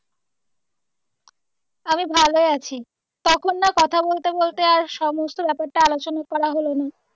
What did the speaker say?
আমি ভালো আছি তখন না কথা বলতে বলতে আর সমস্ত ব্যাপারটা আলোচনা করা হলো না।